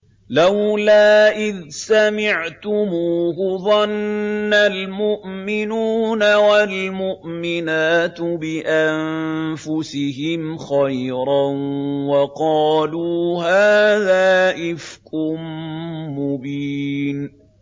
لَّوْلَا إِذْ سَمِعْتُمُوهُ ظَنَّ الْمُؤْمِنُونَ وَالْمُؤْمِنَاتُ بِأَنفُسِهِمْ خَيْرًا وَقَالُوا هَٰذَا إِفْكٌ مُّبِينٌ